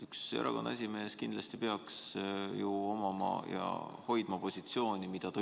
Ühel erakonna esimehel kindlasti peaks olema positsioon, mida ta välja ütleb, ja ta peaks seda hoidma.